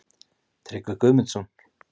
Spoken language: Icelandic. Tryggvi Guðmundsson.